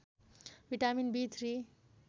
vitamin B three